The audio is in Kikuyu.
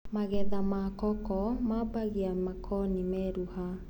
magetha ma koko mabagia makoni meruha.